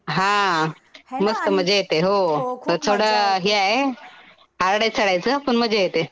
हा मस्त मजा येते. हो. थोडं हे आहे. हार्ड आहे चढायचं पण मजा येते.